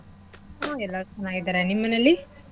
ಹಾ ಎಲ್ಲರೂ ಚೆನ್ನಾಗಿದರೆ ನಿಮ್ ಮನೆಲಿ?